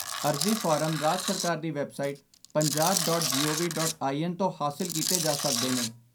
ਅਰਜ਼ੀ ਫਾਰਮ ਰਾਜ ਸਰਕਾਰ ਦੀ website Punjab dot G O V dot in ਤੋਂ ਹਾਸਲ ਕੀਤੇ ਜਾ ਸਕਦੇ ਨੇ।